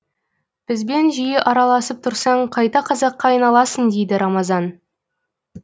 бізбен жиі араласып тұрсаң қайта қазаққа айналасың дейді рамазан